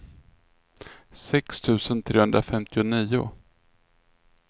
sex tusen trehundrafemtionio